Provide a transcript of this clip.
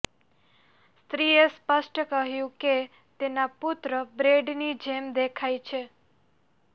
સ્ત્રીએ સ્પષ્ટ કર્યું કે તેના પુત્ર બ્રેડની જેમ દેખાય છે